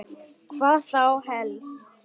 Hvað þá helst?